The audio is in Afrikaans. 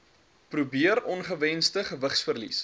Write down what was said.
probeer ongewensde gewigsverlies